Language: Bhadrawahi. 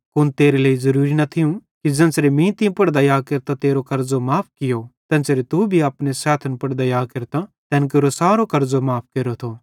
कुन तेरे लेइ ज़ुरुरी न थियूं कि ज़ेन्च़रे मीं तीं पुड़ दया केरतां तेरो कर्ज़ो माफ़ कियो तेन्च़रे तू भी अपने सैथन पुड़ दया केरतां तैन केरो कर्ज़ो माफ़ केरेथो